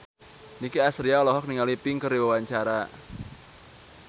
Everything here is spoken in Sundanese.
Nicky Astria olohok ningali Pink keur diwawancara